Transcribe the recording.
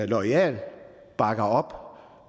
loyale og bakker op